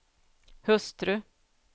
hustru